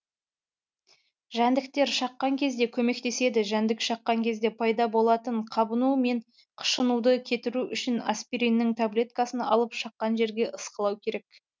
жәндіктер шаққан кезде көмектеседі жәндік шаққан кезде пайда болатын қабыну мен қышынуды кетіру үшін аспириннің таблеткасын алып шаққан жерге ысқылау керек